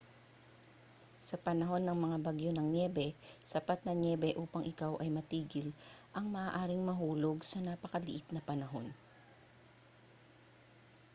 sa panahon ng mga bagyo ng nyebe sapat na nyebe upang ikaw ay matigil ang maaaring mahulog sa napakaliit na panahon